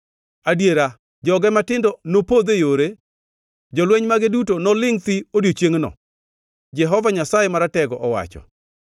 Adiera, joge matindo nopodh e yore; jolweny mage duto nolingʼ thi odiechiengno,” Jehova Nyasaye Maratego owacho.